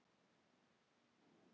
Kristín Þóra.